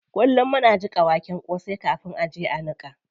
Kullum muna jiƙa waken kosai kafin a je a niƙa.